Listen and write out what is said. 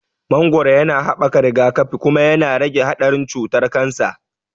Mangoro yana haɓaka rigakafi, kuma yana rage haɗarin cutar kansa.